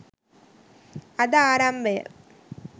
අද ආරම්භය